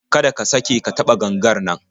Kada ka sake ka taɓa gangar nan